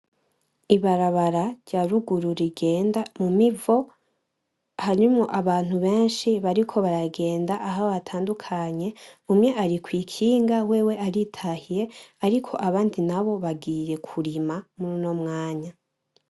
Ibarabara ryarugu rigenda mumivo ,harimwo Abantu benshi bariko baragenda Aho batandukanye umwe arikwikinga wewe aritahiye ariko Abandi bagiye kurima mur' uno mwanya.